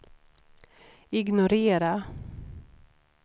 ignorera